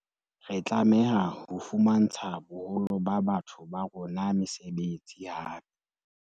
Re tlameha ho fumantsha boholo ba batho ba rona mesebetsi hape.